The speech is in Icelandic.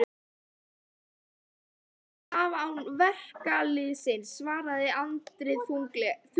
Borgarastéttin kemst ekki af án verkalýðsins, svaraði Andri þurrlega.